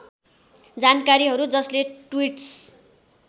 जानकारीहरू जसले ट्वीट्स